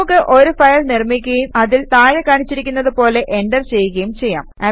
നമുക്ക് ഒരു ഫയൽ നിർമിക്കുകയും അതിൽ താഴെ കാണിച്ചിരിക്കുന്നത് പോലെ എന്റർ ചെയ്യുകയും ചെയ്യാം